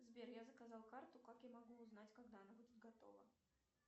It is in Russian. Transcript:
сбер я заказал карту как я могу узнать когда она будет готова